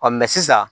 sisan